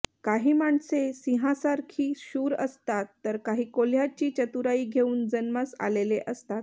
काही माणसे सिंहासारखी शूर असतात तर काही कोल्ह्याची चतुराई घेऊन जन्मास आलेले असतात